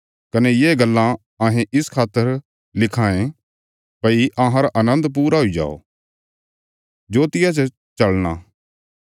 कने ये गल्लां अहें इस खातर लिखिराँ ये भई अहांरा आनन्द पूरा हुई जाओ